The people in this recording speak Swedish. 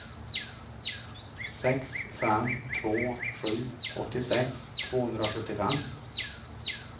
sex fem två sju åttiosex tvåhundrasjuttiofem